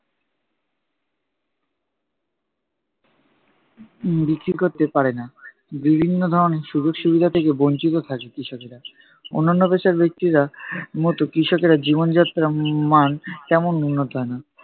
উম বিক্রি করতে পারে না। বিভিন্ন ধরনের সুযোগ সুবিধা থেকে বঞ্চিত থাকে কৃষকেরা। অন্যান্য পেশার ব্যক্তির আহ মতো কৃষকের জীবনযাত্রার মান তেমন উন্নত হয় না।